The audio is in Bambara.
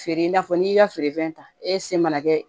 Feere i n'a fɔ n'i ka feerefɛn ta e se mana kɛ